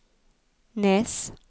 Nes